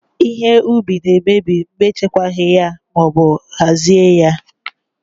Ihe ubi na emebi mgbe e chekwaghị ya ma ọbụ hazie ya